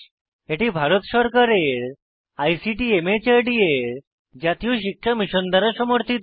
এটি ভারত সরকারের আইসিটি মাহর্দ এর জাতীয় শিক্ষা মিশন দ্বারা সমর্থিত